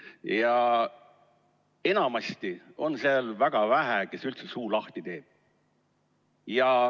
Ja enamasti on seal väga vähe neid, kes üldse suu lahti teevad.